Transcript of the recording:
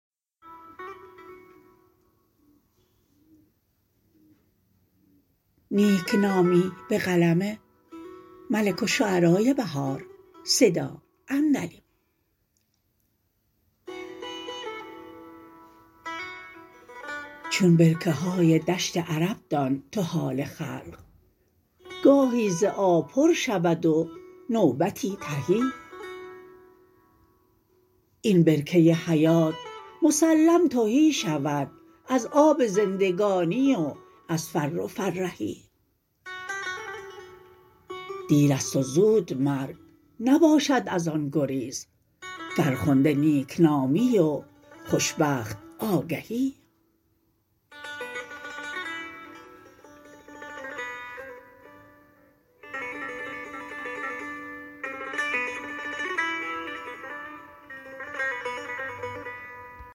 چون برکه های دشت عرب دان تو حال خلق گاهی ز آب پر شود و نوبتی تهی این برکه حیات مسلم تهی شود از آب زندگانی و از فر و فرهی دیر است و زود مرگ نباشد از آن گریز فرخنده نیکنامی و خوشبخت آگهی